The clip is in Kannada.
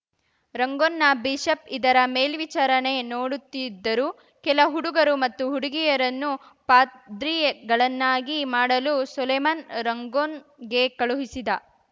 ರಂಗೂನ್‌ನ ಬಿಷಪ್‌ ಇದರ ಮೇಲ್ವಿಚಾರಣೆ ನೋಡುತ್ತಿದ್ದರು ಕೆಲ ಹುಡುಗರು ಮತ್ತು ಹುಡುಗಿಯರನ್ನು ಪಾದ್ರಿಗಳನ್ನಾಗಿ ಮಾಡಲು ಸೊಲೊಮನ್‌ ರಂಗೂನ್‌ಗೆ ಕಳುಹಿಸಿದ